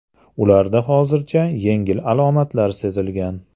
Ularda hozircha yengil alomatlar sezilgan.